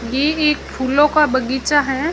ये एक फूलों का बगीचा है।